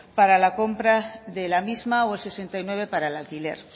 para la compra de la misma o el sesenta y nueve para el alquiler